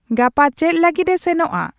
ᱜᱟᱯᱟ ᱪᱮᱫ ᱞᱟᱹᱜᱚᱫ ᱮ ᱥᱮᱱᱚᱜᱼᱟ